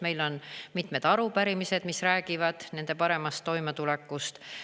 Meil on mitmed arupärimised, mis räägivad nende paremast toimetulekust.